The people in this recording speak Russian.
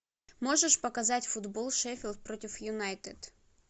можешь показать футбол шеффилд против юнайтед